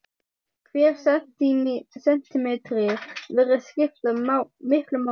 Hver sentímetri virðist skipta miklu máli.